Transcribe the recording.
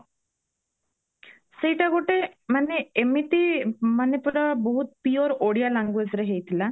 ସେଇଟା ଗୋଟେ ମାନେ ଏମିତି ମାନେ ପୁରା ବହୁତ pure ଓଡିଆ languageରେ ହେଇଥିଲା